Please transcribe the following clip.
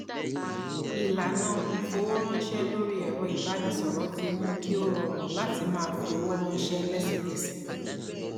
ìlànà ìfowóránṣẹ lórí ẹrọ ìbánisọrọ tí mú kí ó rọrùn láti máa fí owó ránṣẹ lẹsẹkẹsẹ